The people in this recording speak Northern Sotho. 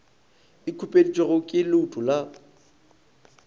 e khupeditšwego ke leuto la